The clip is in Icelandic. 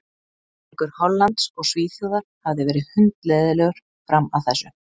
Leikur Hollands og Svíþjóðar hafði verið hundleiðinlegur fram að þessu.